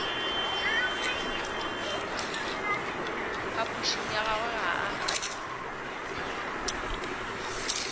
phapošing ya gagwe ga a